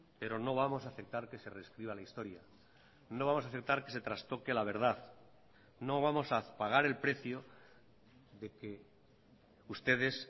pero no vamos a aceptar que se rescriba la historia no vamos a aceptar que se trastoque la verdad no vamos a pagar el precio de que ustedes